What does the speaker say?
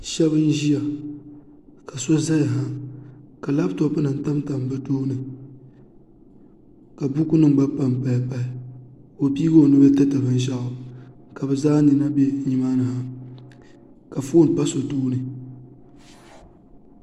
Shab n ʒiya ka so ʒɛya ha ka labtop nim tamtam bi tooni ka buku nim gba panpaya pahi ka o pii o nuu tiri binshaɣu ka bi zaa nina bɛ nimaa ni ha ka foon pa so tooni